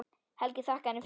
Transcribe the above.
Helgi þakkaði henni fyrir.